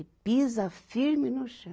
E pisa firme no chão.